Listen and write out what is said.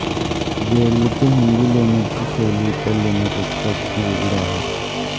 वेरूळच्या हिंदू लेण्यांची शैली इतर लेण्यांपेक्षा अगदी वेगळी आहे